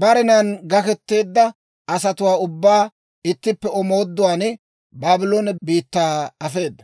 barenan gakketeedda asatuwaa ubbaa ittippe omooduwaan Baabloone biittaa afeeda.